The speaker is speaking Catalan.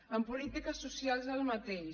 en polítiques socials el mateix